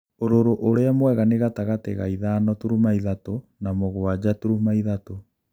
ūrūrū ūrīa muega ni gatagatī ga ithano turuma ithatū na mūgwaja turuma ithatū.